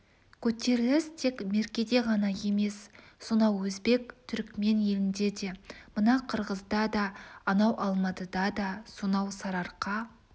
көтеріліс тек меркеде ғана емес сонау өзбек түрікмен елінде де мына қырғызда да анау алматыда да сонау сарыарқа